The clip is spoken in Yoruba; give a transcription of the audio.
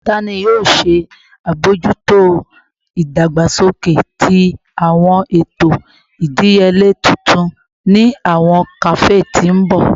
Tani yoo ṣe abojuto idagbasoke ti awọn eto idiyele tuntun ni awọn kafe ti n bọ?